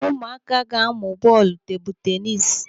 Ụmụaka ga-amụ bọọlụ tebụlu tenis.